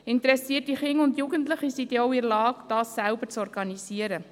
Interessierte Kinder und Jugendliche sind in der Lage, die Teilnahme selber zu organisieren.